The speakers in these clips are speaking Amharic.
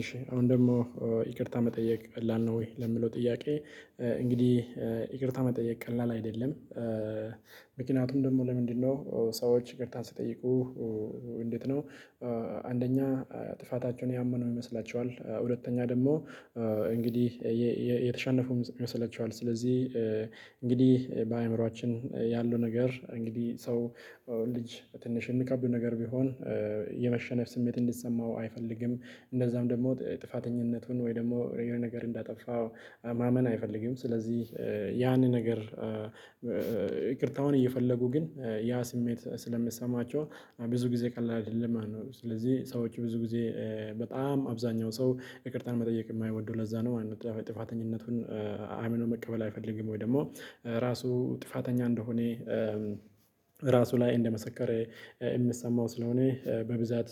እሺ፣ አሁን ደግሞ ይቅርታ መጠየቅ ቀላል ነው ወይ ለምለው ጥያቄ እንግዲህ ይቅርታ መጠየቅ ቀላል አይደለም። ምክንያቱም ደግሞ ለምንድነው ሰዎች ይቅርታ ስትጠይቁ እንዴት ነው አንደኛ ጥፋታቸውን ያመኑ ይመስላችኋል፣ ሁለተኛ ደግሞ እንግዲህ የተሸነፉ ይመስላቸዋል ስለዚህ እንግዲህ በአእምሮአችን ያለው ነገር እንግዲህ ሰው ልጅ ትንሽ የሚከብዱ ነገር ቢሆን የመሸነፍ ስሜት እንድትሰማው አይፈልግም። እንደዛም ደግሞ ጥፋተኝነቱን ወይ ደግሞ የሆነ ነገር እንዳጠፋ ማመን አይፈልግም ስለዚህ ያንን ነገር ይቅርታውን እየፈለጉ ግን ያ ስሜት ስለሚሰማቸው ብዙ ጊዜ ቀላል አይደለም ማለት ነው። ስለዚህ ሰዎች ብዙ ጊዜ በጣም አብዛኛው ሰው ይቅርታን መጠየቅ የማይወዱ ለዛ ነው። ዋናው ጥፋተኝነቱን አምኖ መቀበል አይፈልግም ወይ ደግሞ ራሱ ጥፋተኛ እንደሆነ ራሱ ላይ እንደመሰከረ የምትሰማው ስለሆነ በብዛት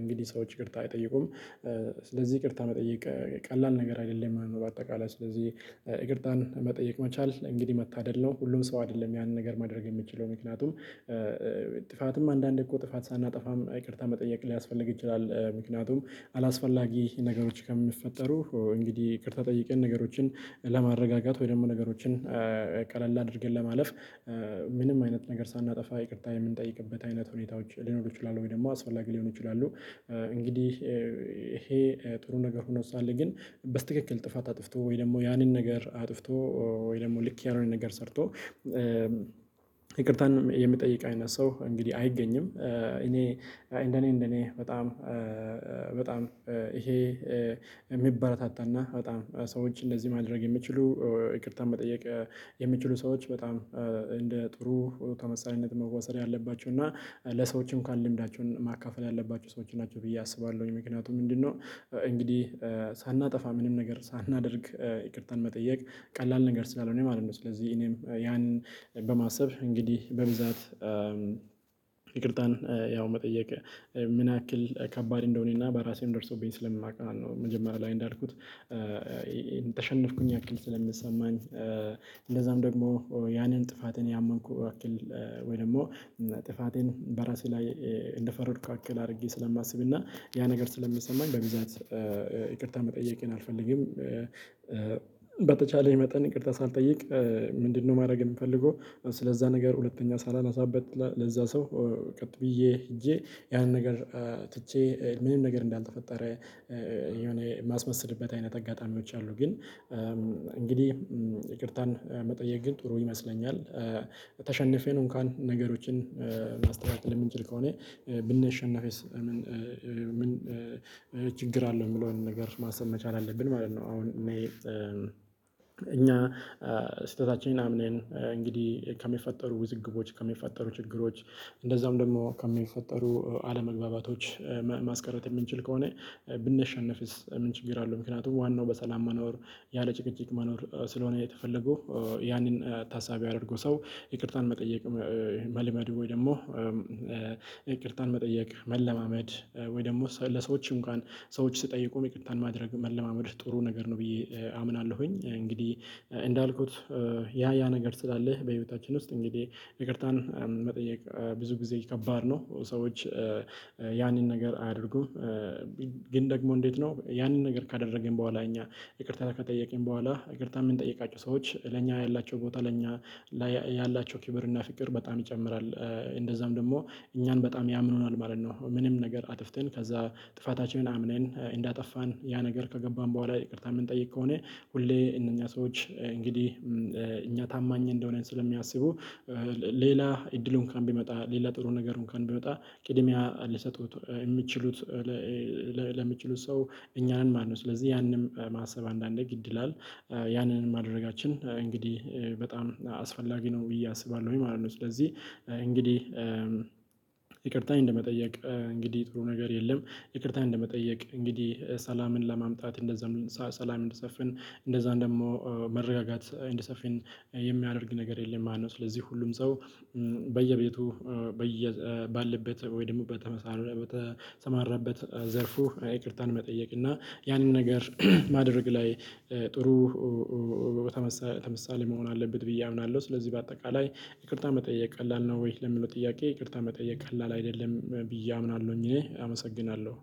እንግዲህ ሰዎች ይቅርታ አይጠይቁም። ስለዚህ ይቅርታ መጠየቅ ቀላል ነገር አይደለም የምለው አጠቃላይ ስለዚህ ይቅርታን መጠየቅ መቻል እንግዲህ መታደል ነው። ሁሉም ሰው አይደለም ያንን ነገር ማድረግ የምትችለው ምክንያቱም ጥፋትም አንዳንዴ እኮ ጥፋት ሳናጠፋም ይቅርታ መጠየቅ ሊያስፈልግ ይችላል። ምክንያቱም አላስፈላጊ ነገሮች ከሚፈጠሩ እንግዲህ ይቅርታ ጠይቀን ነገሮችን ለማረጋጋት ወይ ደግሞ ነገሮችን ቀለል አድርገን ለማለፍ ምንም አይነት ነገር ሳናጠፋ ይቅርታ የምንጠይቅበት አይነት ሁኔታዎች ሊኖሩ ይችላሉ ወይ ደግሞ አስፈላጊ ሊሆን ይችላል። እንግዲህ ይሄ ጥሩ ነገር ሆኖ ሳለ ግን በስትክክል ጥፋት አጥፍቶ ወይ ደግሞ ያንን ነገር አጥፍቶ ወይ ደግሞ ልክ ያልሆነ ነገር ሰርቶ ይቅርታን የምጠይቀ አይነት ሰው እንግዲህ አይገኝም። እኔ እንደኔ እንደኔ በጣም በጣም ይሄ የሚበረታታና በጣም ሰዎች እንደዚህ ማድረግ የሚችሉ፣ ይቅርታ መጠየቅ የሚችሉ ሰዎች በጣም እንደ ጥሩ ተመሳሳይነት መወሰድ ያለባቸው እና ለሰዎችም ካለው ልምዳቸው ማካፈል ያለባቸው ሰዎች ናቸው ብዬ አስባለሁኝ ምክንያቱም ምንድነው እንግዲህ ሳናጠፋ ምንም ነገር ሳናደርግ ይቅርታን መጠየቅ ቀላል ነገር ስላለሆነ ነው ማለት ነው። ስለዚህ ይህንን ያንን በማሰብ እንግዲህ በብዛት ይቅርታን ያው መጠየቅ ምን ያክል ከባድ እንደሆነና በራሴም ደርሶብኝ ሰለማውቅ ነው። መጀመሪያ ላይ እንዳልኩት ተሸነፍኩኝ ያክል ስለሚሰማኝ እንደዛም ደግሞ ያንን ጥፋትን ያመንኩ ወይ ደግሞ ጥፋቴን በራሴ ላይ እንደፈረድኩ ያክል አድርጌ ስለማስብና ያ ነገር ስለሚሰማኝ በብዛት ይቅርታ መጠየቅ አልፈልግም። በተቻለኝ መጠን ይቅርታ ሳልጠይቅ ምንድነው ማድረግ የምፈልገው ስለዛ ነገር ሁለተኛ ሳላነሳበት ለዛ ሰው ቀጥ ብዬ ሄጄ ያን ነገር ትቼ ምንም ነገር እንዳልተፈጠረ የሆነ የማስመስልበት አይነት አጋጣሚዎች አሉ ግን እንግዲህ ይቅርታን መጠየቅ ግን ጥሩ ይመስለኛል። ተሸንፌ ነው እንኳን ገሮችን ማስተካከል የምንችል ከሆነ ብንሸነፍስ ችግር አለው የምለውን ነገር ማሰብ መቻል አለብን ማለት ነው። አሁን እኔ እኛ ስህተታችን አምነን እንግዲህ ከሚፈጠሩ ውዝግቦች፣ ከሚፈጠሩ ችግሮች እንደዛውም ደግሞ ከሚፈጠሩ አለመግባባቶች ማስከረት የምንችል ከሆነ ብንሸነፍስ ምን ችግር አለው ምክንያቱም ዋናው በሰላም መኖር ያለጭቅጭቅ መኖር ስለሆነ የተፈለው ያንን ታሳቢ ያደረጉ ሰው ይቅርታን መጠየቅ መልመድ ወይ ደግሞ ይቅርታን መጠየቅ መለማመድ ወይ ደግሞ ለሰዎችም እንኳን ሰዎች ስትጠይቁ ይቅርታን ማድረግ መለማመድ ጥሩ ነገር ነው ብዬ አምናለሁኝ። እንግዲህ እንዳልኩት ያ ያ ነገር ስላለ በህይወታችን ውስጥ እንግዲህ ይቅርታን መጠየቅ ብዙ ጊዜ ከባድ ነው። ሰዎች ያንን ነገር አያደርጉም ግን ደግሞ እንዴት ነው ያንን ነገር ካደረገኝ በኋላ እኛ ይቅርታ ከጠየቀኝ በኋላ ይቅርታ የምንጠይቃቸው ሰዎች ለኛ ያላቸው ቦታ ለኛ ላይ ያላቸው ክብርና ፍቅር በጣም ይጨምራል። እንደዛም ደግሞ እኛን በጣም ያምኑናል ማለት ነው። ምንም ነገር አጥፍተን ከዛ ጥፋታችንን አምነን እንዳጠፋን ያ ነገር ከገባን በኋላ ይቅርታ ምን ጠይቅ ከሆነ ሁሌ እኛ ሰዎች እንግዲህ እኛ ታማኝ እንደሆነን ስለሚያስቡ ሌላ እድሉን እንኳን ቢመጣ ሌላ ጥሩ ነገርን እንኳን ቢመጣ ቅድሚያ ሊሰጡት የምትችሉት ለምትችሉት ሰው እኛ ነን ማለት ነው። ስለዚህ ያንን ማሰብ አንዳንዴ ግድ ይላል። ያንን ማድረጋችን እንግዲህ በጣም አስፈላጊ ነው ብዬ አስባለሁኝ ማለት ነው። ስለዚህ እንግዲህ ይቅርታ እንደመጠየቅ እንግዲህ ጥሩ ነገር የለም። ይቅርታን እንደመጠየቅ እንግዲህ ሰላምን ለማምጣት እንደዛ ሰላም እንዲሰፈን እንደዛ እንደዛም ደግሞ መረጋጋት እንዲሰፊን የሚያደርግ ነገር የለም ማለት ነው። ስለዚህ ሁሉም ሰው በየቤቱ በየ ባለበት ወይ ደግሞ በተመሳሳይ በተሰማራበት ዘርፉ ይቅርታን መጠየቅ እና ያንን ነገር ማድረግ ላይ ጥሩ በተመሳ ምሳሌ መሆን አለበት ብዬ አምናለሁ። ስለዚህ በአጠቃላይ ይቅርታ መጠየቅ ቀላል ነው ወይ ለምለው ጥያቄ ይቅርታ መጠየቅ ቀላል አይደለም ብዬ አምናለሁኝ እኔ አመሰግናለሁ።